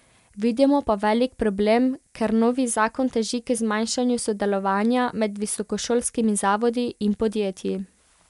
Vidimo pa velik problem, ker novi zakon teži k zmanjšanju sodelovanja med visokošolskimi zavodi in podjetji.